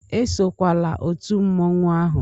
Esokwala otu mmanwụ ahụ!